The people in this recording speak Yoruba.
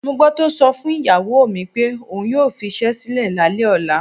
Mo gbó̩ tó so̩ fún ìyàwó mi pé òun yóò fis̩é̩ sílè̩ lálé̩ ò̩la.